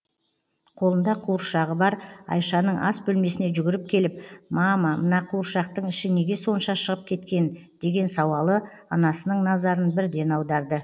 қолында қуыршағы бар айшаның ас бөлмесіне жүгіріп келіп мама мына қуыршақтың іші неге сонша шығып кеткен деген сауалы анасының назарын бірден аударды